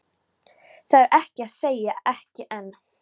Það er að segja, ekki enn.